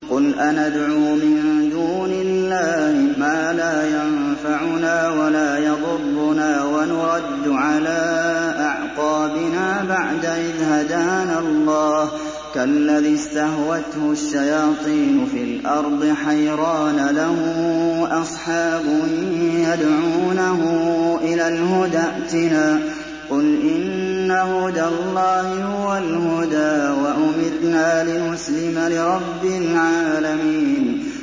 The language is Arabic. قُلْ أَنَدْعُو مِن دُونِ اللَّهِ مَا لَا يَنفَعُنَا وَلَا يَضُرُّنَا وَنُرَدُّ عَلَىٰ أَعْقَابِنَا بَعْدَ إِذْ هَدَانَا اللَّهُ كَالَّذِي اسْتَهْوَتْهُ الشَّيَاطِينُ فِي الْأَرْضِ حَيْرَانَ لَهُ أَصْحَابٌ يَدْعُونَهُ إِلَى الْهُدَى ائْتِنَا ۗ قُلْ إِنَّ هُدَى اللَّهِ هُوَ الْهُدَىٰ ۖ وَأُمِرْنَا لِنُسْلِمَ لِرَبِّ الْعَالَمِينَ